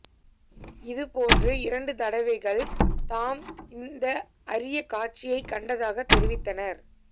இது போன்று இரண்டு தடவைகள் தாம் இந்த அரிய காட்சியைக் கண்டதாக தெரிவித்தனர்